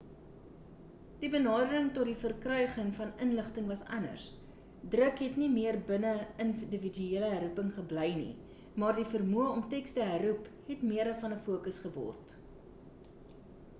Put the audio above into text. die benadering tot die verkryging van inligting was anders druk het nie meer binne individuele herroeping gebly nie maar die vermoë om teks te herroep het meer van 'n focus geword